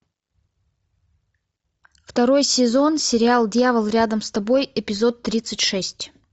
второй сезон сериал дьявол рядом с тобой эпизод тридцать шесть